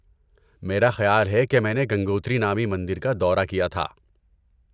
میرا خیال ہے کہ میں نے گنگوتری نامی مندر کا دورہ کیا تھا۔